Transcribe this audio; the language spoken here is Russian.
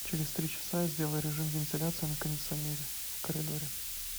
через три часа сделай режим вентиляции на кондиционере в коридоре